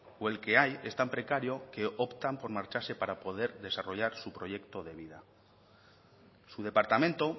o el que hay es tan precario que optan por marcharse para poder desarrollar su proyecto de vida su departamento